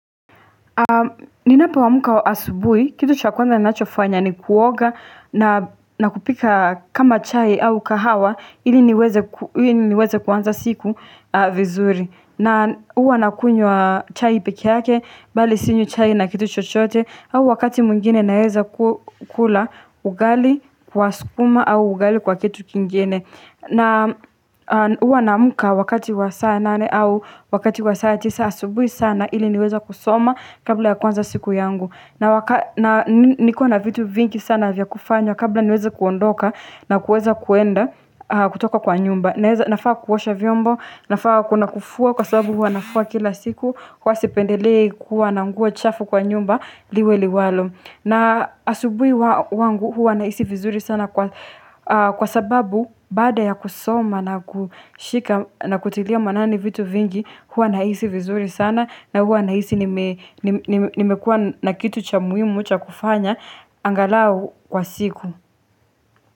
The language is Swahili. Ninapo amka asubuhi, kitu cha kwanza nachofanya ni kuoga na kupika kama chai au kahawa ili niweze kuanza siku vizuri na huwa nakunywa chai peke, bali sinywi chai na kitu chochote au wakati mwingine naweza kula ugali kwa sukuma au ugali kwa kitu kingine na huwa naamka wakati wa saa nane au wakati wa saa tisa asubuhi sana ili niweza kusoma kabla ya kuanza siku yangu na nikiwa na vitu vingi sana vya kufanya kabla niweze kuondoka na kuweza kuenda kutoka kwa nyumba nafaa kuosha vyombo, nafaa kuna kufua kwa sababu huwa nafua kila siku, huwa sependelei kuwa na nguo chafu kwa nyumba liwe liwalo na asubuhi wangu huwa nahisi vizuri sana kwa sababu bada ya kusoma na kutilia manani vitu vingi huwa nahisi vizuri sana na huwa nahisi nimekua na kitu cha muhimu cha kufanya, angalau kwa siku.